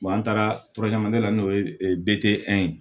an taara la n'o ye ye